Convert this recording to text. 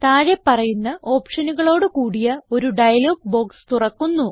താഴെ പറയുന്ന ഓപ്ഷനുകളോട് കൂടിയ ഒരു ഡയലോഗ് ബോക്സ് തുറക്കുന്നു